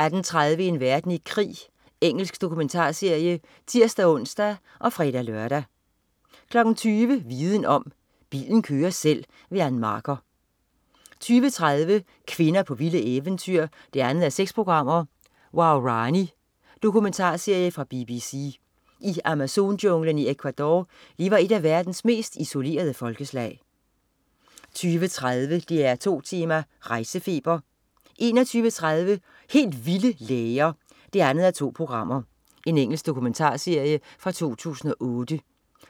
18.20 En verden i krig. Engelsk dokumentarserie (tirs-ons, fre-lør) 20.00 Viden Om: Bilen kører selv. Ann Marker 20.30 Kvinder på vilde eventyr 2:6. Waorani. Dokumentarserie fra BBC. I Amazonjunglen i Ecuador lever et af verdens mest isolerede folkeslag 20.30 DR2 Tema: Rejsefeber 21.30 Helt vilde læger 2:4. Engelsk dokumentarserie fra 2008.